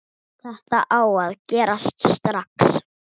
Þetta á að gerast strax.